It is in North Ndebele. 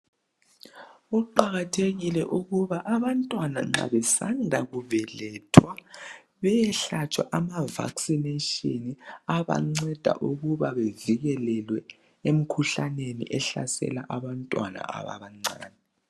Kuqakathekile ukuba abantwana nxa besanda kubelethwa bayehlatshwa ama vaccination abanceda ukuba bavikeleke emkhuhlaneni ehlasela abantwana abancane.